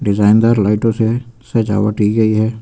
Design दार लाइटो से सजावट की गई है।